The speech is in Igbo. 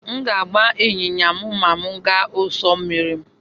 M ga-agba ịnyịnya ma m gaa n'ụsọ osimiri.